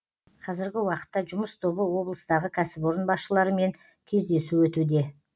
қазіргі уақытта жұмыс тобы облыстағы кәсіпорын басшыларымен кездесу өтуде